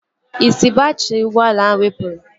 Isi baatrị ụgbọala ahụ wepụrụ